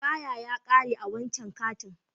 Asteyper ya kare a wancan kantin.